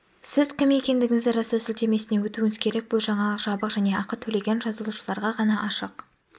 сіз кім екендігіңізді растау сілтемесіне өтуіңіз керек бұл жаңалық жабық және ақы төлеген жазылушыларға ғана ашық